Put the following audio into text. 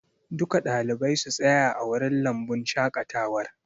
Duka ɗalibai su tsaya a wurin lambun shaƙatawar!